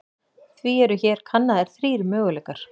Því eru hér kannaðir þrír möguleikar.